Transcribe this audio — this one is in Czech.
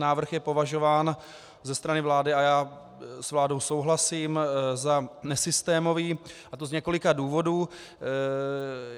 Návrh je považován ze strany vlády, a já s vládou souhlasím, za nesystémový, a to z několika důvodů.